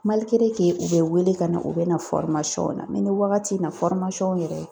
u bɛ wele ka na, u bɛ na na ni wagati in na yɛrɛ